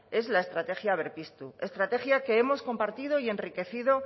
es la estrategia berpiztu estrategia que hemos compartido y enriquecido